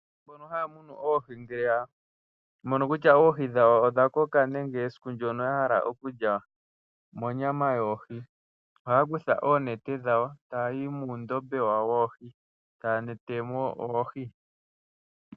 Mbono haa munu oohi ngele ya mono kutya oohi dhawo odha koka nenge esiku ndyoka ya hala oku lya monyama yoohi oha ya kutha oonete dhawo , taya yi muundombe wawo woohi, taa netemo oohi.